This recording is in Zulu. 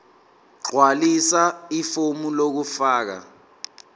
gqwalisa ifomu lokufaka